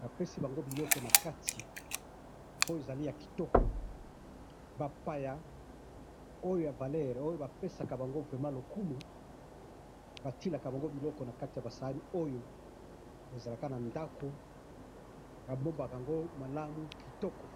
bapesi bango biloko na kati .oyo ezali ya kitoko, bapaya oyo ya valeurs oyo bapesaka bango vraiment lokumu, batielaka bango biloko na kati ya ba saani oyo ,ezalaka na ndako, babombaka yango malamu kitoko